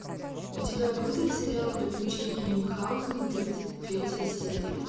у тебя будет сериал приключения мюнхаузена тридцать третья серия